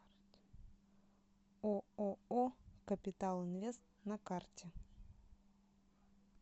ооо капитал инвест на карте